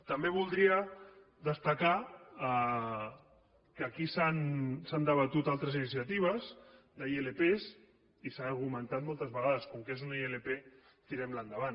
també voldria destacar que aquí s’han debatut altres iniciatives d’ilp i s’ha argumentat moltes vegades com que és una ilp tirem la endavant